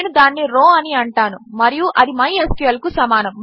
నేను దానిని రౌ అని అంటాను మరియు అది మైస్క్ల్ కు సమానము